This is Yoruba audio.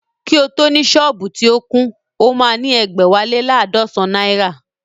Kí o tó ni sọ́ọ̀bù tí ó kún, o máa ní ẹ̀gbẹ́wá lé laadọsan náírà